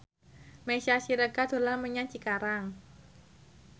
Meisya Siregar dolan menyang Cikarang